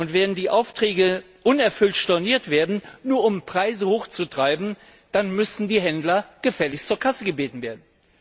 Und wenn die Aufträge unerfüllt storniert werden, nur um Preise hochzutreiben, dann müssen die Händler gefälligst zur Kasse gebeten werden.